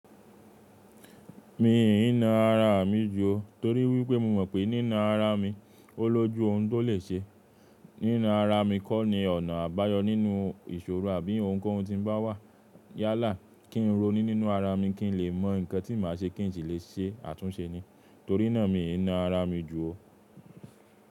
Mi ì ní na ara mi ju o torí wípé mo mọ̀ pé nínú ara mi, ó lójú ohun tó lè ṣe. Nínú ara mi kọ́ ni ọ̀nà àbáyọ nínú ìṣòro àbí ohun kan tí ń bá wà. Yálà kí ń roni nínú ara mi kí ń lè mọ̀ nǹkan tí màá ṣe kí ń sì lè ṣe àtúnṣe ni. Torí náà mi ì na ara mi ju o.